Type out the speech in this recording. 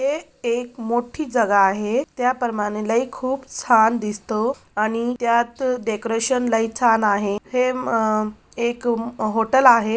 हे एक मोठी जागा आहे त्या प्रमाणे लई खूप छान दिसतो आणि त्यात डेकोरेशन लई छान आहे हे अम एक हॉटेल आहे.